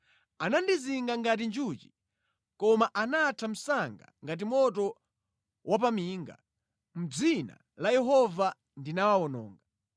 Anandizinga ngati njuchi, koma anatha msanga ngati moto wapaminga; mʼdzina la Yehova ndinawawononga.